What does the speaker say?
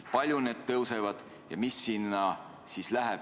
Kui palju need suurenevad ja mis sinna läheb?